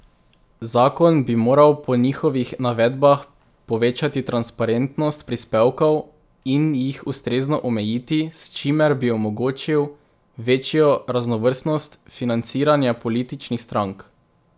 Zakon bi moral po njihovih navedbah povečati transparentnost prispevkov in jih ustrezno omejiti, s čimer bi omogočil večjo raznovrstnost financiranja političnih strank.